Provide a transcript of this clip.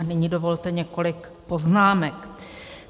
A nyní dovolte několik poznámek.